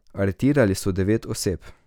Aretirali so devet oseb.